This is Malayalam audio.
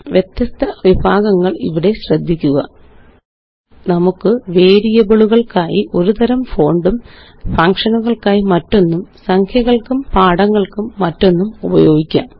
വ്യത്യസ്ത വിഭാഗങ്ങള് ഇവിടെ ശ്രദ്ധിക്കുക നമുക്ക് വേരിയബിളുകള്ക്കായി ഒരു തരം ഫോണ്ടും ഫങ്ഷനുകള്ക്ക് മറ്റൊന്നും സംഖ്യകള്ക്ക് പാഠങ്ങള്ക്കും മറ്റൊന്നും ഉപയോഗിക്കാം